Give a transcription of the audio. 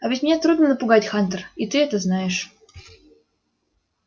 а ведь меня трудно напугать хантер и ты это знаешь